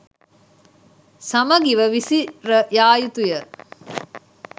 සමගිව විසිර යා යුතුය.